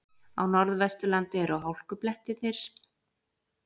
Á Norðvesturlandi eru hálkublettir og skafrenningur